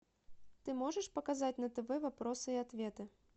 ты можешь показать на тв вопросы и ответы